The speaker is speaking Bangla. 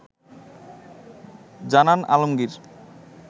জানান আলমগীর